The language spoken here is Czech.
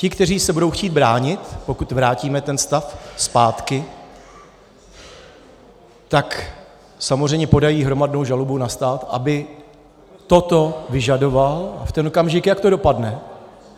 Ti, kteří se budou chtít bránit, pokud vrátíme ten stav zpátky, tak samozřejmě podají hromadnou žalobu na stát, aby toto vyžadoval, a v ten okamžik, jak to dopadne?